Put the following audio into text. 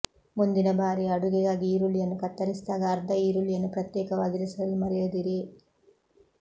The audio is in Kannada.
ಮುಂದಿನ ಬಾರಿ ಅಡುಗೆಗಾಗಿ ಈರುಳ್ಳಿಯನ್ನು ಕತ್ತರಿಸಿದಾಗ ಅರ್ಧ ಈರುಳ್ಳಿಯನ್ನು ಪ್ರತ್ಯೇಕವಾಗಿರಿಸಲು ಮರೆಯದಿರಿ